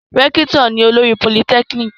Rẹ́kítọ̀ ni olórí politẹ́kíníkì